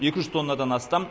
екі жүз тоннадан астам